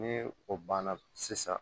Ni o banna sisan